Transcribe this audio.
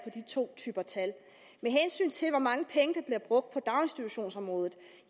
de to typer tal med hensyn til hvor mange penge der bliver brugt på daginstitutionsområdet